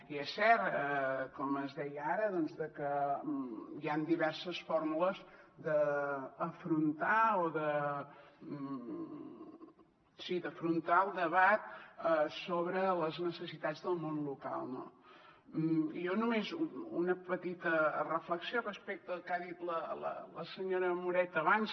i és cert com es deia ara doncs que hi han diverses fórmules d’afrontar el debat sobre les necessitats del món local no jo només una petita reflexió respecte al que ha dit la senyora moreta abans